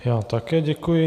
Já také děkuji.